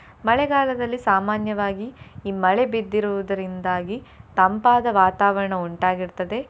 ಮಳೆಗಾಲದಲ್ಲಿ ಸಾಮಾನ್ಯವಾಗಿ ಈ ಮಳೆ ಬಿದ್ದಿರುವುದರಿಂದಾಗಿ ತಂಪಾದ ವಾತಾವರಣ ಉಂಟಾಗಿರ್ತದೆ.